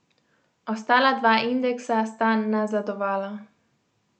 Ostala dva indeksa sta nazadovala.